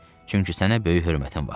Çünki sənə böyük hörmətim var.